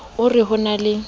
o re ho na le